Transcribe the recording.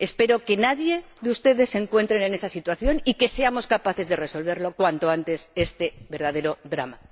Espero que ninguno de ustedes se encuentre en esa situación y que seamos capaces de resolver cuanto antes este verdadero drama.